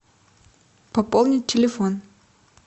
пополнить телефон